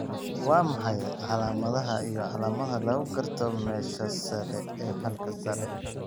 Waa maxay calamadaha iyo calamadaha lagu garto Meesha sare ee halka sare?